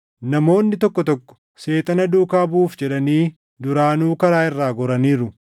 Namoonni tokko tokko Seexana duukaa buʼuuf jedhanii duraanuu karaa irraa goraniiru.